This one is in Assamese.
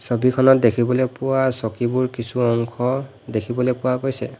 ছবিখনত দেখিবলৈ পোৱা চকীবোৰ কিছু অংশ দেখিবলৈ পোৱা গৈছে।